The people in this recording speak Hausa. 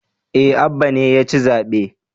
Eh Abba ne yaci zaɓe